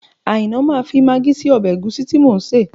Àìná máa fi magí sí ọbẹ̀ ẹ̀gúsí tí mò ń sè